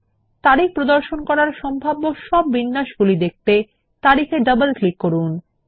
তারিখ প্রদর্শন করার সম্ভাব্য সব বিন্যাসগুলি দেখতে তারিখে ডবল ক্লিক করুন